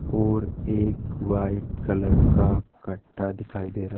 और एक white colour का कट्टा दिखाई दे रहा--